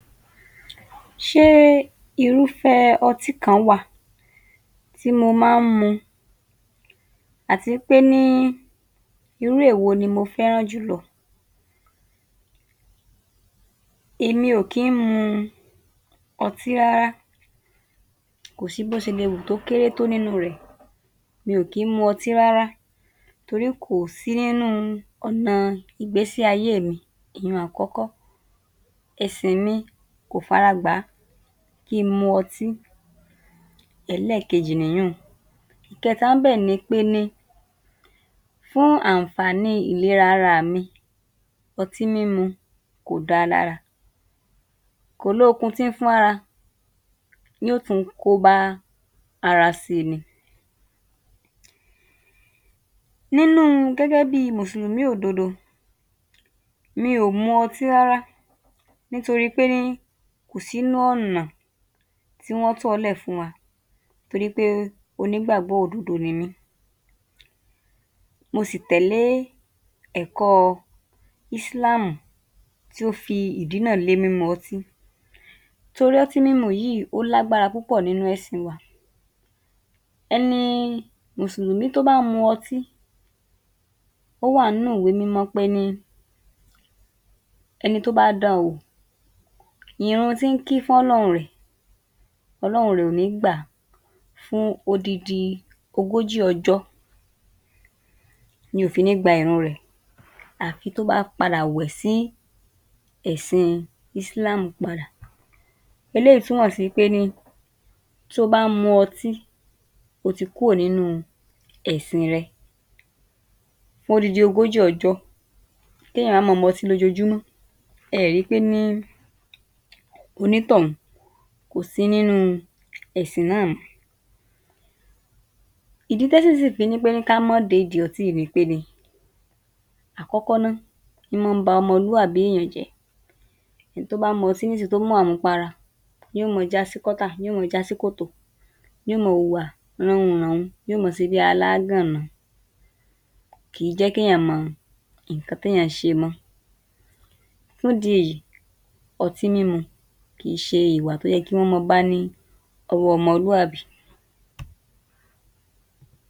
40. Ṣé irúfẹ́ ọtí kan wà tí mo má ń mu, àti pé ní irú èwo ni mo féràn jùlọ. Èmi ò kí ń mu ọtí rárá, kò sí tó ṣe lè kéré tó nínú rẹ̀, mi ò kí ń mu ọtí rárá torí kò sí nínú ọ̀nà ìgbésí ayéè mi, ìyẹn àkọ́kọ́, ẹ̀sìn mi kò fara gbàá kí n mu ọtí, ẹlẹ́ẹ̀kejì nìyínun. Ìkẹta ń bẹ̀ ni pé ní fún àǹfààní ìlera araà mi, ọtí mímu kò dáa lára, kò lóokun tí ń fún ara yó tùn-ún kóbá ara síi ni. Nínú gẹ́gẹ́ bíi Mùsùlùmí òdodo, mi ò mu ọtí rárá nítorí pé ní kò sí ń nú ọ̀nà tí wọ́n tọ̀ọ́lẹ̀ fún wa torí pé onígbàgbọ́ òdodo nimí. Mo sì tẹ̀lé ẹ̀kọ́ ísíláàmù tí ó fi ìdínà lé mímu ọtí torí ọtí mímu yìí ó lágbára púpọ̀ nínú ẹ̀sìn wa. Ẹni Mùsùlùmí tó bá ń mu ọtí, ó wà ń nú ìwé mímọ́ pé ní ẹni tó bá dán-an wò ìrun tí ń kí f'Ọ́lọ́run rẹ̀, Ọlọ́run rẹ̀ kò ní gbà á fún odindi ogójì ọjọ́ ni ò fi ní gba ìrun rẹ̀ àfi tí ó bá padà wẹ̀ sí ẹ̀sìn ísíláàmù padà, eléyìí túmọ̀ sí pé ní tó o bá ń mu ọtí o ti kúrò nínú ẹ̀sìn rẹ fún odindi ogójì ọjọ́ kéèyàn wá ma mọtí lójoojúmọ́ ẹẹ̀ri pé ní onítọ̀ún kò sí nínú ẹ̀sìn náà mọ́. Ìdí tẹ́sìn fi ní pé ní ká má dédìí ọtí yìí ni pé ni, àkọ́kọ́ ná ín mọ́ ń ba ọmọlúàbí èèyàn jẹ́. Ẹni tó bá mọtí ní ń sìn-ín tó tú màmupara ní ó mọ jásí kọ́tà ní ó mọ jásí kòtò, ní ó mọ hùwà rán-un-ràn-un ní ó ma ṣebí aláágànná, kìí jẹ́ kéèyàn mọ nǹkan tí èèyàn ń ṣe mọ́ fún ìdí èyí ọtí mímu kìí ṣe ìwà tó yẹ kí wọ́n máa bá ní ọwọ́ ọmọlúàbí